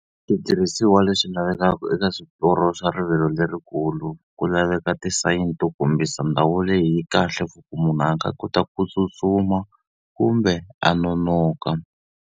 Switirhisiwa leswi lavekaka eka swiporo swa rivilo lerikulu, ku laveka ti-sign to kombisa ndhawu leyi kahle for ku munhu a nga kota ku tsutsuma, kumbe a nonoka.